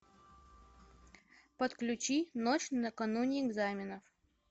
подключи ночь на кануне экзаменов